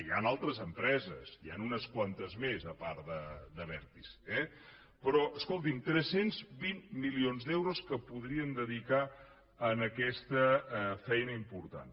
hi han altres empreses n’hi han unes quantes més a part d’abertis eh però escolti’m tres cents i vint milions d’euros que podríem dedicar a aquesta feina important